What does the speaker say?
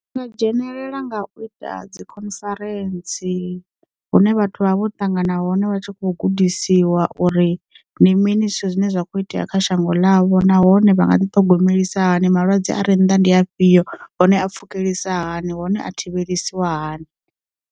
Ndi nga dzhenelela nga u ita dzikhonferentsi, hune vhathu vha vha vho ṱangana hone vha tshi kho gudisiwa uri ndi mini zwithu zwine zwa kho itea kha shango ḽavho nahone vha nga ḓi thogomelisiwa hani malwadze a ri nda ndi afhio hone a pfukelisa hani hone a thivheliwa hani.